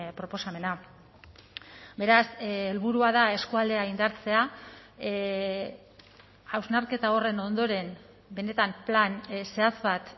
proposamena beraz helburua da eskualdea indartzea hausnarketa horren ondoren benetan plan zehatz bat